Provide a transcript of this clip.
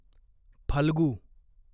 Phalgu